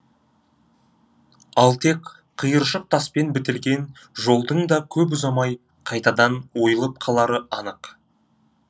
ал тек қиыршық таспен бітелген жолдың да көп ұзамай қайтадан ойылып қалары анық